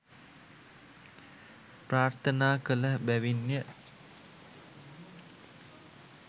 ප්‍රාර්ථනා කළ බැවින්ය.